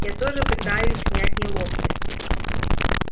я тоже пытаюсь снять неловкость